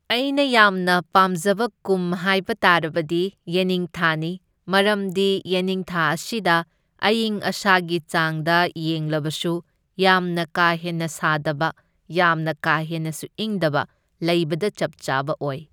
ꯑꯩꯅ ꯌꯥꯝꯅ ꯄꯥꯝꯖꯕ ꯀꯨꯝ ꯍꯥꯏꯕ ꯇꯥꯔꯕꯗꯤ ꯌꯦꯅꯤꯡꯊꯥꯅꯤ, ꯃꯔꯝꯗꯤ ꯌꯦꯅꯤꯡꯊꯥ ꯑꯁꯤꯗ ꯑꯏꯪ ꯑꯁꯥꯒꯤ ꯆꯥꯡꯗ ꯌꯦꯡꯂꯕꯁꯨ ꯌꯥꯝꯅ ꯀꯥ ꯍꯦꯟꯅ ꯁꯥꯗꯕ ꯌꯥꯝꯅ ꯀꯥ ꯍꯦꯟꯅꯁꯨ ꯏꯪꯗꯕ, ꯂꯩꯕꯗ ꯆꯞ ꯆꯥꯕ ꯑꯣꯢ꯫